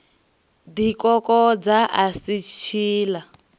ḓi kokodza a si tshiḽa